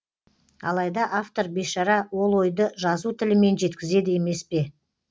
алайда автор бейшара ол ойды жазу тілімен жеткізеді емес пе